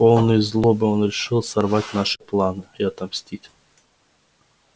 полный злобы он решил сорвать наши планы и отомстить за своё позорное изгнание